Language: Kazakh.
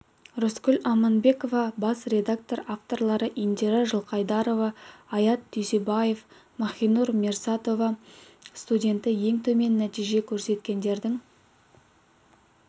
рыскүл аманбекова бас редактор авторлары индира жылқайдарова аят дүйсенбаев махинур мирсоатова студенті ең төмен нәтиже көрсеткендердің